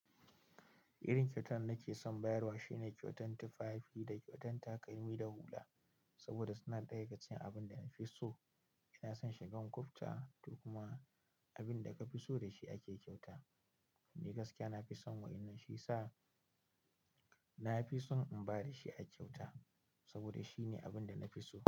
Irin kyautan da nake son bayarwa shine kyautan tufafi da kyautan takalmi da hula, saboda suna ɗaya daga cikin abin da na fi so. Ina son shigan kufta, to kuma. Abin da ka fi so da shi ake kyauta. Ni gaskiya na fi son waƴannan shi yasa na fi son in ba da shi a kyauta. Saboda shine abin da na fi so.